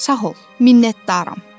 Sağ ol, minnətdaram.